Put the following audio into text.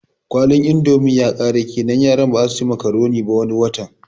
Kwalin indomin yakare kenan yaran bazasu ci makuroni ba wani watan